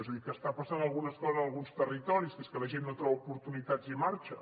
és a dir que està passant alguna cosa en alguns territoris que és que la gent no troba oportunitats i marxa